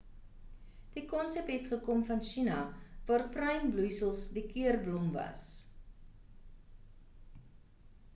die konsep het gekom van china waar pruimbloeisels die keurblom was